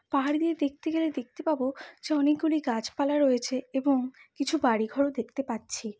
পাহাড় দিয়ে দেখতে গেলে দেখতে পাব যে অনেকগুলি গাছপালা রয়েছে এবং কিছু বাড়িঘরও দেখতে পাচ্ছি।